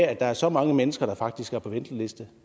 at der er så mange mennesker der faktisk står på venteliste